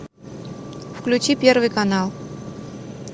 включи первый канал